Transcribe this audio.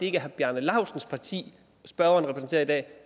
er herre bjarne laustsens parti spørgeren repræsenterer i dag